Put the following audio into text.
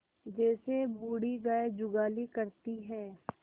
जैसे बूढ़ी गाय जुगाली करती है